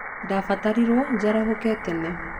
Ndabatarirwo njarahoke tene.